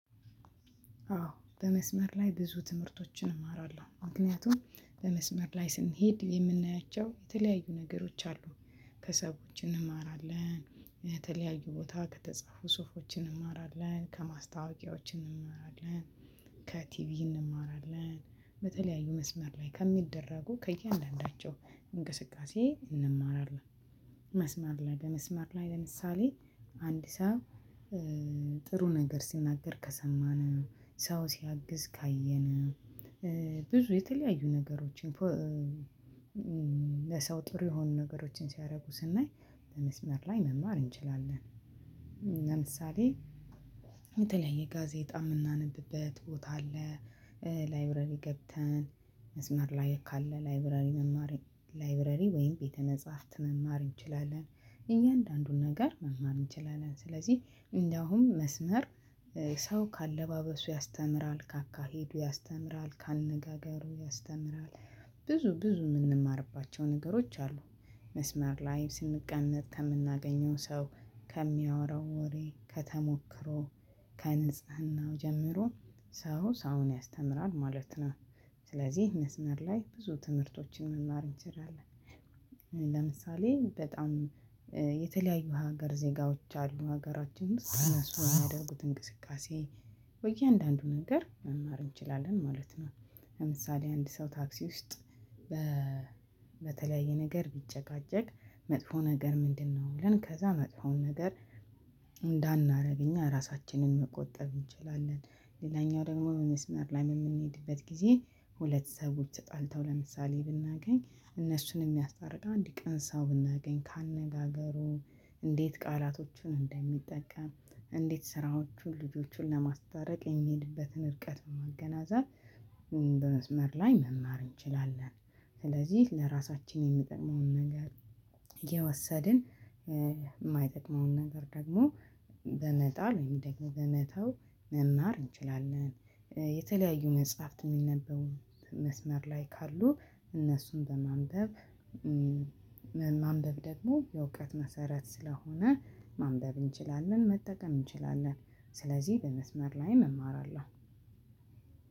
አዎ በመስመር ላይ ብዙ ትምህርቶችን እማራለሁ፣ ምክንያቱም በመስመር ላይ ስንሄድ የምናያቸው የተለያዩ ነገሮች አሉ ከሰዎች እንማራለን፣ የተለያዩ ቦታ ከተጻፉ ጹፎች እንማራለን፣ ከማስታወቂያዎችን እንማራለን፣ ከቲቪ እንማራለን፣ በተለያዩ መስመር ላይ ከሚደረጉ ከእያንዳንዳቸው እንቅስቃሴ እንማራለን። መስመር ላይ በመስመር ላይ ለምሳሌ አንድ ሰው ጥሩ ነገር ሲናገር ከሰማነው ሰው ሲያግዝ ካየነው ብዙ የተለያዩ ነገሮችን ለሰው ጥሩ የሆኑ ነገሮችን ሲያደርጉ ስናይ በመስመር ላይ መማር እንችላለን። ለምሳሌ የተለየ ጋዜጣ የምናነብበት ቦታ አለ፣ ላይብረሪ ገብተን መስመር ላይ ካለ ላይብረሪ መማር ላይብረሪ ወይም ቤተ መጻፍት መማር እንችላለን እያንዳንዱን ነገር መማር እንችላለን ስለዚህ እንደውም መስመር ሰው ከአለባበሱ ያስተምራል፣ ካካሄዱ ያስተምራል፣ ካነጋገሩ ያስተምራል፣ ብዙ ብዙ የምንማርባቸው ነገሮች አሉ መስመር ላይ ስንቀነጥ ከምናገኘው ሰው ከሚያወራው ወሬ፣ ከተሞክሮ፣ ከንጽህናው ጀምሮ ሰው ሰው ያስተምራል ማለት ነው። ስለዚህ መስመር ላይ ብዙ ትምህርቶችን መማር እንችላለን። ለምሳሌ በጣም የተለያዩ ሀገር ዜጋዎች አሉ ሀገራችን ዉስጥ እነሱ ከሚያደርጉት እንቅስቃሴ በየአንዳንዱ ነገር መማር እንችላለን ማለት ነው ለምሳሌ አንድ ሰው ታክሲ ውስጥ በተለያየ ነገር ቢጨቃጨቅ መጥፎ ነገር ምንድነው ብለን ከዛ መጥፎውን ነገር እንዳናደርግ እኛ ራሳችንን መቆጠብ እንችላለን፣ ሌላኛው ደግሞ መስመር ላይ የምንሄድበት ጊዜ ሁለት ሰዎች ተጣልተው ለምሳሌ ብናገኝ እነሱን የሚያስታርቅ አንድ ቅን ሰው ብናገኝ ካነጋገሩ እንዴት ቃላቶቹን እንደሚጠቀም እንዴት ስራዎቹን ልጆቹን ለማስታረቅ የሚሄድበትን እርቀት ብንገነዘብ በመስመር ላይ መማር እንችላለን ስለዚህ ለራሳችን የሚጠቅመውን ነገር እየወሰድን የማይጠቅመውን ነገር ደግሞ በመጣል ወይም በመተው መማር እንችላለን። የተለያዩ መጽሐፍት የሚነበቡ መስመር ላይ ካሉ እነሱን በማንበብ ማንበብ ደግሞ የእውቀት መሰረት ስለሆነ ማንበብ እንችላለን መጠቀም እንችላለን ስለዚህ በመስመር ላይ እማራለሁ።